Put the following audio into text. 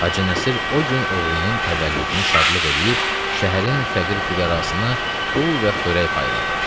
Hacı Nəsir o gün oğlunun təvəllüdünü şadlıq eləyib, şəhərin fəqir-füqərasına pul və xörək payladı.